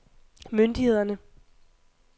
myndighederne